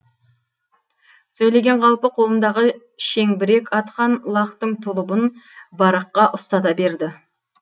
сөйлеген қалпы қолындағы шеңбірек атқан лақтың тұлыбын бараққа ұстата берді